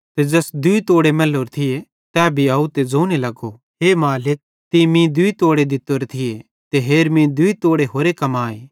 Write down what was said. ते ज़ैस दूई तोड़े मैल्लोरे थिये तै भी आव ते ज़ोने लगो हे मालिक तीं मीं दूई तोड़े दित्तोरे थिये ते हेर मीं दूई तोड़े होरे कमाए